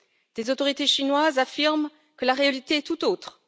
Les autorités chinoises affirment que la réalité est toute autre.